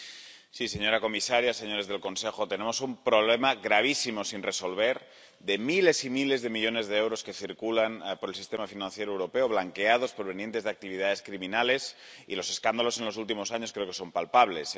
Señora presidenta, señora comisaria, señores del Consejo, tenemos un problema gravísimo sin resolver, de miles y miles de millones de euros que circulan por el sistema financiero europeo, blanqueados, provenientes de actividades criminales, y los escándalos en los últimos años creo que son palpables.